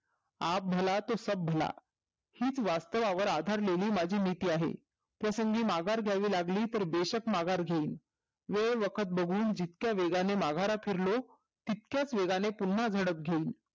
आप भला तो सब भला हीच वास्तवांवर आधारलेली माझी नीती आहे त्यासाठी माघार घ्यावी लागली तर बेशक माघार घेईल वेग दाखल बघून जितक्या वेगाने माघारा फिरलो तितक्याच वेगाने पून्हा झडप घेईन